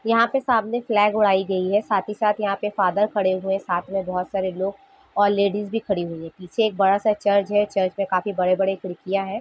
यहाँ पर सामने फ्लैग उड़ाई गयी है साथ ही साथ यहाँ पर फादर खड़े हुए साथ में बहुत सारे लोग और लेडीज भी खड़ी हुई हैं पीछे एक बड़ा सा चर्च हैं चर्च में काफी बड़े बड़े खिड़किया हैं।